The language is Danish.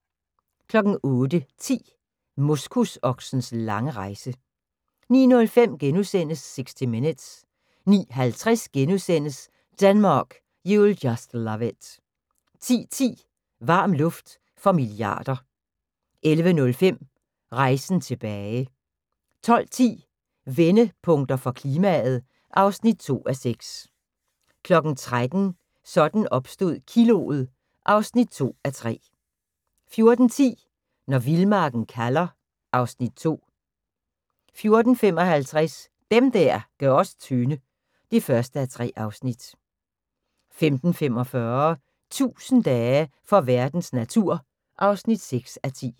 08:10: Moskusoksens lange rejse 09:05: 60 Minutes * 09:50: Denmark, you'll just love it * 10:10: Varm luft for milliarder 11:05: Rejsen tilbage 12:10: Vendepunkter for klimaet (2:6) 13:00: Sådan opstod kiloet (2:3) 14:10: Når vildmarken kalder (Afs. 2) 14:55: Dem der gør os tynde (1:3) 15:45: 1000 dage for verdens natur (6:10)